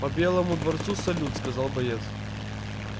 по белому дворцу салют сказал боец